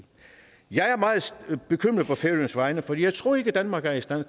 jeg er meget bekymret på færøernes vegne for jeg tror ikke danmark er i stand